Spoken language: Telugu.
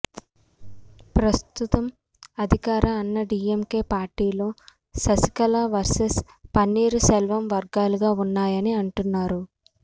ప్రస్తుతం అధికార అన్నాడీఎంకే పార్టీలో శశికళ వర్సెస్ పన్నీరు సెల్వం వర్గాలుగా ఉన్నాయని అంటున్నారు